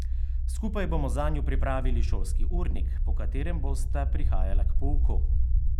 Skupaj bomo zanju pripravili šolski urnik, po katerem bosta prihajala k pouku.